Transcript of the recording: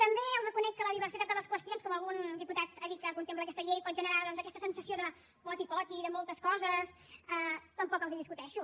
també els reconec que la diversitat de les qüestions com algun diputat ha dit que contempla aquesta llei pot generar doncs aquesta sensació de poti poti de moltes coses tampoc els ho discuteixo